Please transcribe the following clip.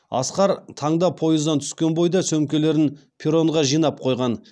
асқар таңда пойыздан түскен бойда сөмкелерін перронға жинап қойған